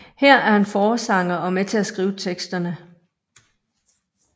Her er han forsanger og med til at skrive teksterne